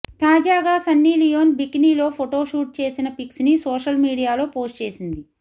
తాజగా Sunny Leone బికినిలో photo shoot చేసిన pics ని సోషల్ మీడియాలో పోస్ట్ చేసింది